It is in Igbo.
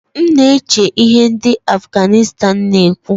M na-eche ihe ndị Afganistan na-ekwu